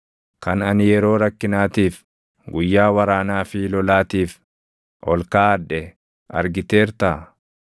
Kan ani yeroo rakkinaatiif, guyyaa waraanaa fi lolaatiif ol kaaʼadhe argiteertaa?